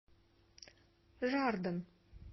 жарден